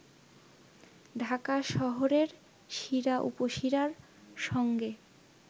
ঢাকা শহরের শিরা-উপশিরার সঙ্গে